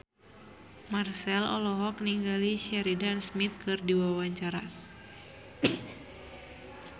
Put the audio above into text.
Marchell olohok ningali Sheridan Smith keur diwawancara